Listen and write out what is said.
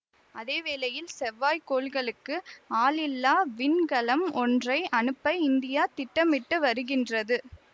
அதே வேளையில் செவ்வாய் கோள்களுக்கு ஆளில்லா விண்கலம் ஒன்றை அனுப்ப இந்தியா திட்டமிட்டு வருகின்றது